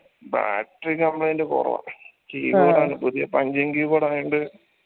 battery complaint കൊറവാ പുതിയ punching keyboard ആയോണ്ട്